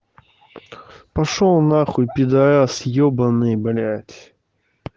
пошёл нахуй пидорас ёбаный блядь